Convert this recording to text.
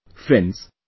Friends,